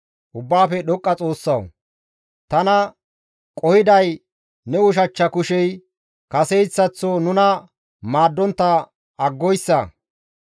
Ubbaafe Dhoqqa Xoossawu! Tana qohiday, ne ushachcha kushey kaseyssaththo nuna maaddontta aggoyssa.